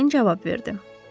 Əmrayın cavab verdi.